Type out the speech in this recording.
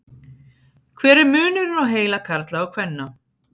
hver er munurinn á heila karla og kvenna